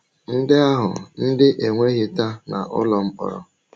Ndị ahụ ndị e nweghịta n’ụlọ mkpọrọ